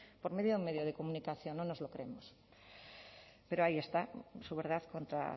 por medio de un medio de comunicación no nos lo creemos pero ahí está su verdad contra